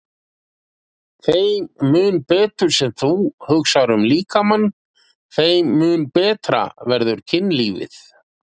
Þeim mun betur sem þú hugsar um líkamann, þeim mun betra verður kynlífið.